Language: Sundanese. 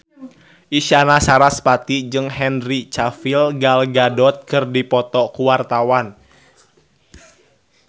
Isyana Sarasvati jeung Henry Cavill Gal Gadot keur dipoto ku wartawan